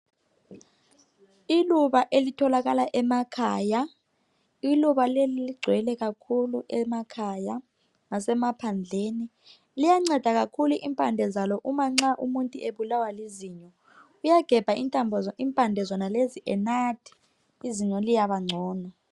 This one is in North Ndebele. Iluba elitholakala emakhaya, iluba leli ligcwele kakhulu emakhaya lasemaphandleni. Liyanceda kakhulu impande zalo nxa umuntu ebulawa lizinyo. Uyagebha impande zonalezo enathile izinyo liyaba ngcono.